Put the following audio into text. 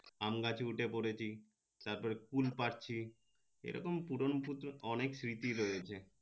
আম গাছে উঠে পরেছি তার পরে তার পরে কুল পারছিএই রকম পুরনো অনেক অনেক স্মৃতি রয়েছে